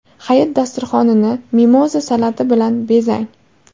Hayit dasturxonini mimoza salati bilan bezang.